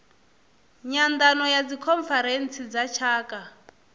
nyandano ya dzikhonferentsi dza tshaka